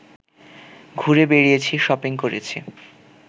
ঘুরে বেড়িয়েছি, শপিং করেছি